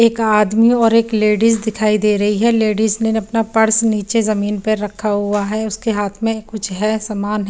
एक आदमी और एक लेडिस दिखाई दे रही है लेडिस ने अपना पर्स नीचे जमीन पे रखा हुआ है उसके हाथ में कुछ है सामान।